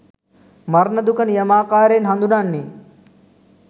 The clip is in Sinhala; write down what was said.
මරණ දුක නියමාකාරයෙන් හඳුනන්නේ